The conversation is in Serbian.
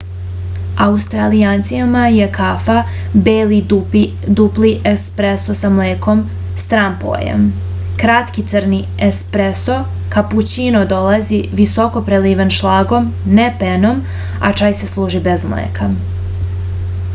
аустралијанцима је кафа бели дупли еспресо са млеком стран појам. кратки црни је еспресо капућино долази високо преливен шлагом не пеном а чај се служи без млека